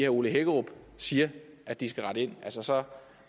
ole hækkerup siger at de skal rette ind altså så